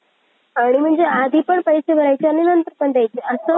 आणि म्हणजे आधी पण पैसे भरायचे आणि नंतर पण द्यायचे असं